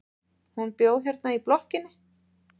Hún bjó hérna í blokkinni.